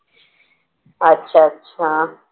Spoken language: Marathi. अच्छा अच्छा